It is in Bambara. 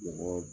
Mɔgɔ